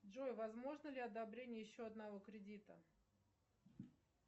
джой возможно ли одобрение еще одного кредита